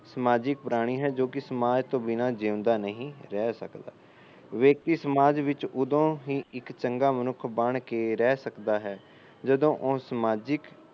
ਸਮਾਜਿਕ ਪ੍ਰਾਣੀ ਹੈ ਜੋ ਕਿ ਸਮਾਜ ਤੋਂ ਬਿਨਾ ਜਿਉਦਾ ਨਹੀ ਰਹਿ ਸਕਦਾ ਮਨੁੱਖ ਸਮਾਜ ਵਿੱਚ ਇੱਕ ਉਦਾ ਹੀ ਚੰਗਾ ਵਿਅਕਤੀ ਬਣ ਕੇ ਰਹਿ ਸਕਦਾ ਹੈ ਜਦੋਂ ਉਹ ਸਮਾਜਿਕ